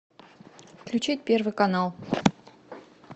включить первый канал